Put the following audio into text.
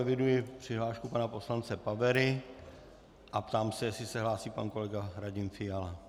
Eviduji přihlášku pana poslance Pavery a ptám se, jestli se hlásí pan kolega Radim Fiala.